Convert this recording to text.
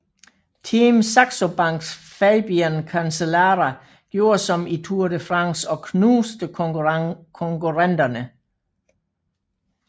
Team Saxo Banks Fabian Cancellara gjorde som i Tour de France og knuste konkurrenterne